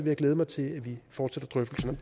jeg glæde mig til at vi fortsætter drøftelserne